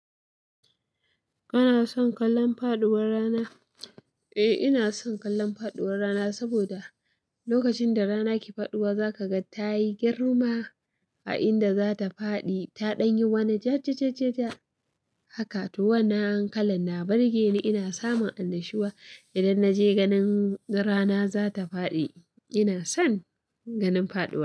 Kana son kallon faɗuwar rana? Eh, ina son kallon faɗuwar rana saboda lokacin da rana ke faɗuwa, za ka ga ta yi girma a inda za ta faɗi. Ta ɗan yi wani jajajajaja haka to wannan kalan na burge ni. Ina samun annashuwa idan na je ganin rana za ta faɗi. Ina son ganin faɗuwa.